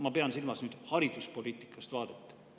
Ma pean silmas hariduspoliitika vaadet.